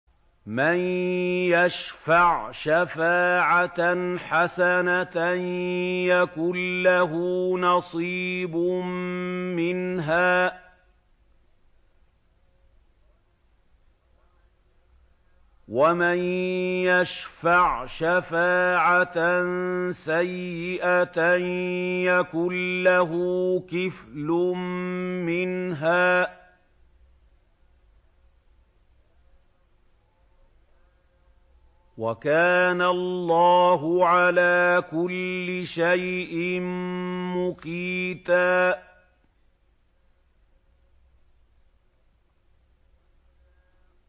مَّن يَشْفَعْ شَفَاعَةً حَسَنَةً يَكُن لَّهُ نَصِيبٌ مِّنْهَا ۖ وَمَن يَشْفَعْ شَفَاعَةً سَيِّئَةً يَكُن لَّهُ كِفْلٌ مِّنْهَا ۗ وَكَانَ اللَّهُ عَلَىٰ كُلِّ شَيْءٍ مُّقِيتًا